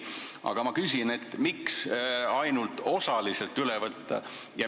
Aga ma küsin, miks see ainult osaliselt üle võtta.